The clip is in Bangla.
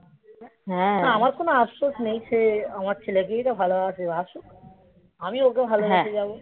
হ্যাঁ আমার কোনো আফসোস নেই সে আমার ছেলেকেই তো ভালোবাসে বাসুক আমি ওকে ভালোবেসে যাবো হুম আর এই দেখেছে যাও সারা বছর কেটে গেলো